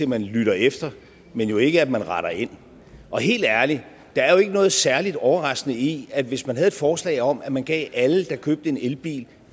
man lytter efter men jo ikke at man retter ind og helt ærligt der er jo ikke noget særlig overraskende i at hvis man havde et forslag om at man gav alle der købte en elbil